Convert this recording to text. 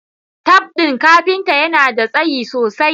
Taf din kafinta yana da tsayi sosai